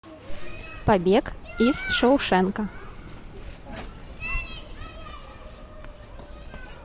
побег из шоушенка